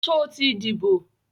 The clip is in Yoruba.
Sọ ti díbò?